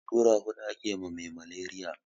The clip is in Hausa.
Allura hudu ake ma me maleriya